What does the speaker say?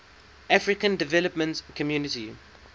african development community